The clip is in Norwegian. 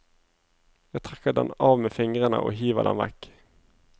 Jeg trekker den av med fingrene og hiver den vekk.